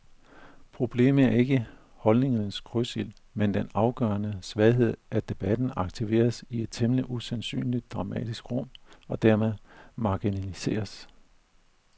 Problemet er ikke holdningernes krydsild, men den afgørende svaghed, at debatten aktiveres i et temmelig usandsynligt dramatisk rum og dermed marginaliseres.